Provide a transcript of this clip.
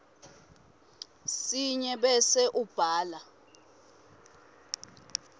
sinye bese ubhala